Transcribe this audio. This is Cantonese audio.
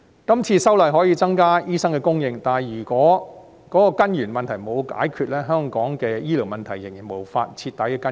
今次修例可以增加醫生的供應，但如果根源問題沒有解決，香港的醫療問題仍然無法徹底根治。